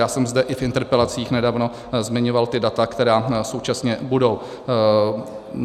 Já jsem zde i v interpelacích nedávno zmiňoval ta data, která současně budou.